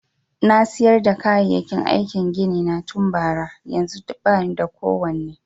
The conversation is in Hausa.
Na siyar da kayayyaki aikin gini na tun bara, yanzun ba ni da kowane.